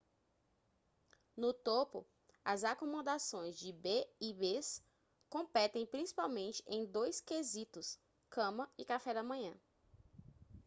no topo as acomodações b&bs competem principalmente em dois quesitos cama e café da manhã